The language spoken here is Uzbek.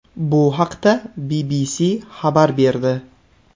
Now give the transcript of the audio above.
Bu haqda BBC xabar berdi .